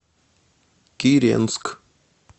киренск